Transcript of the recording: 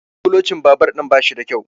kulocin babur ɗin ba shi da kyau